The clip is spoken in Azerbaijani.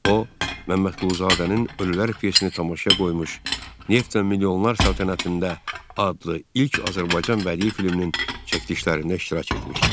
O Məmmədquluzadənin Ölülər pyesini tamaşaya qoymuş, Neft və Milyonlar sənədində adlı ilk Azərbaycan bədii filminin çəkilişlərində iştirak etmişdi.